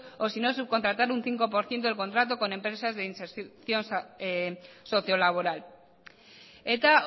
o sino subcontratar un cinco por ciento del contrato con empresas de inserción sociolaboral eta